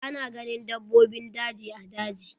Ana ganin dabbobin daji a daji.